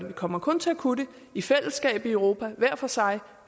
vi kommer kun til at kunne det i fællesskab i europa hver for sig